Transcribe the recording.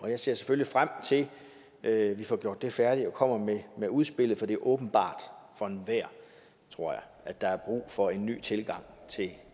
jeg ser selvfølgelig frem til at vi får gjort det arbejde færdigt og kommer med med udspillet for det er åbenbart for enhver tror jeg at der er brug for en ny tilgang til